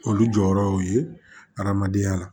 Olu jɔyɔrɔw ye adamadenya la